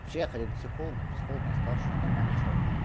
вообще я ходил к психологу психолог мне сказал что я нормальный человек